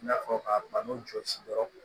I n'a fɔ ka bana jɔsi yɔrɔ